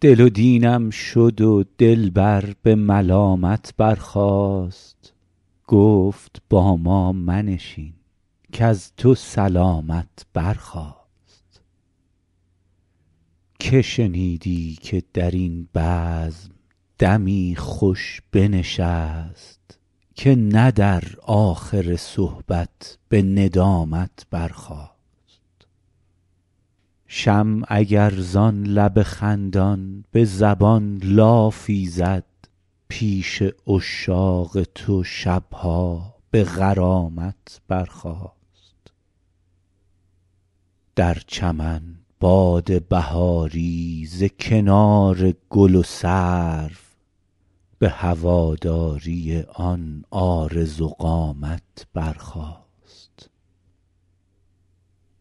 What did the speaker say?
دل و دینم شد و دلبر به ملامت برخاست گفت با ما منشین کز تو سلامت برخاست که شنیدی که در این بزم دمی خوش بنشست که نه در آخر صحبت به ندامت برخاست شمع اگر زان لب خندان به زبان لافی زد پیش عشاق تو شب ها به غرامت برخاست در چمن باد بهاری ز کنار گل و سرو به هواداری آن عارض و قامت برخاست